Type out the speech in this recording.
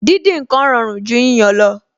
Díndín ǹkan rọrùn ju yíyan lọ